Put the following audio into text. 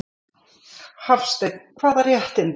Hafsteinn: Hvaða réttindi?